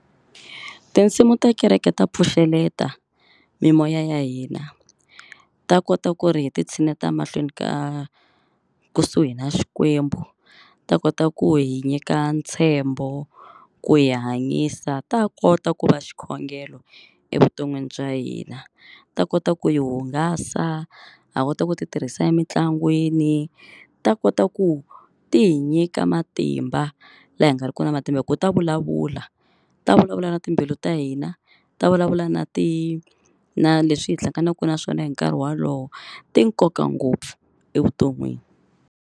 Tinsimu ta kereke ta pfuxeleta mimoya ya hina. Ta kota ku ri hi titshineta mahlweni ka kusuhi na Xikwembu, ta kota ku hi nyika ntshembo ku hi hanyisa, ta ha kota ku va xikhongelo evuton'wini bya hina, ta kota ku yi hungasa. Ha kota ku titirhisa emitlangwini ta kota ku ti hi nyika matimba laha hi nga riki na matimba hin ku ta vulavula. Ta vulavula na timbilu ta hina, ta vulavula na ti na leswi hi hlanganaka na swona hi nkarhi wolowo. Ti nkoka ngopfu evuton'wini.